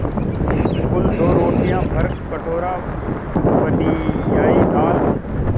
कुल दो रोटियाँ भरकटोरा पनियाई दाल